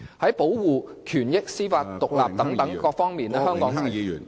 在保護權益、司法獨立等方面，香港......